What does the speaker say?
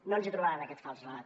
no ens trobaran en aquest fals relat